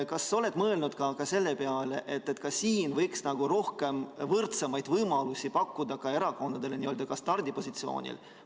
Kas sa oled mõelnud ka selle peale, et siin võiks nagu võrdsemaid võimalusi pakkuda erakondadele n-ö stardipositsioonil?